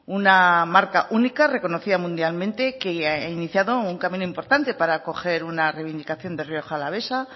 una marca única reconocida mundialmente que ha iniciado un camino importante para coger una reivindicación de rioja alavesa